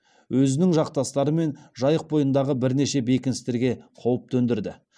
өзінің жақтастарымен жайық бойындағы бірнеше бекіністерге қауіп төндірді